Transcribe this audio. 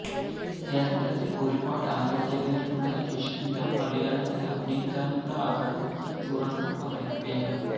കേരളത്തിൽ ഒരുപാട് ആരാധകരുള്ള രശ്മിക മലയാളത്തിൽ അഭിനയിക്കാനുള്ള ആഗ്രഹം തുറന്നു പറയുകയാണ്